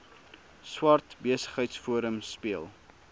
swart besigheidsforum speel